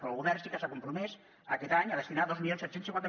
però el govern sí que s’ha compromès aquest any a destinar dos mil set cents i cinquanta